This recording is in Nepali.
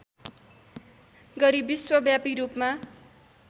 गरी विश्वव्यापी रूपमा